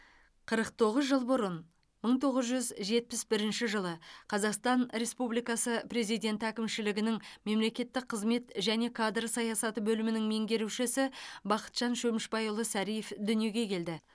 қырық тоғыз жыл бұрын мың тоғыз жүз жетпіс бірінші жылы қазақстан республикасы президенті әкімшілігінің мемлекеттік қызмет және кадр саясаты бөлімінің меңгерушісі бақытжан шөмішбайұлы сариев дүниеге келді